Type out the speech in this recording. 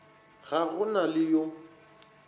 ga go na le yo